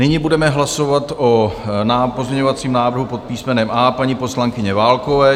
Nyní budeme hlasovat o pozměňovacím návrhu pod písmenem A paní poslankyně Válkové.